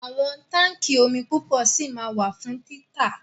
Àwọn táńkì omi púpọ̀ ṣì ma wà fún títà.